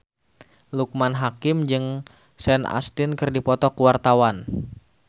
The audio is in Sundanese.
Loekman Hakim jeung Sean Astin keur dipoto ku wartawan